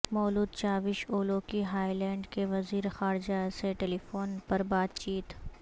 مولود چاوش اولوکی ہالینڈ کے وزیر خارجہ سے ٹیلی فون پر بات چیت